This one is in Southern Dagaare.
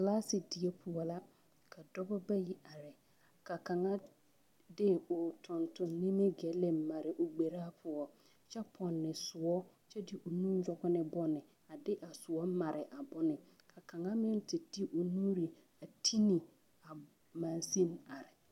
Kilaasidie poɔ la ka dɔba bayi are ka kaŋ are de o nimigille mare o gberaa poɔ kyɛ pɔnne soɔ kyɛ de nu nɔge ne bone a de a soɔ mare a bone ka kaŋa meŋ te te o nuure a te ne magsen are.